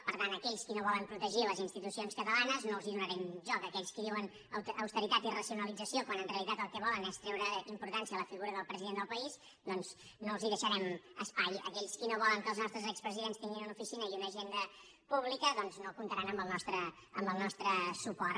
per tant a aquells que no volen protegir les institucions catalanes no els donarem joc a aquells que diuen austeritat i racionalització quan en realitat el que volen és treure importància a la figura del president del país doncs no els deixarem espai aquells qui no volen que els nostres expresidents tinguin una oficina i una agenda pública doncs no comptaran amb el nostre suport